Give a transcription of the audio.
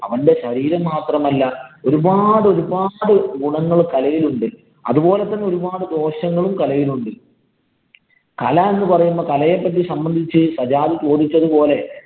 അവന്‍റെ ശരീരം മാത്രമല്ല, ഒരുപാട് ഒരുപാട് ഗുണങ്ങള്‍ കലയിലുണ്ട്. അത് പോലെ തന്നെ ഒരുപാടു ദോഷങ്ങളും കലയിലുണ്ട്. കല എന്ന് പറയുമ്പോള്‍ കലയെ പറ്റി സംബന്ധിച്ചു സജാദ് ചോദിച്ചത് പോലെ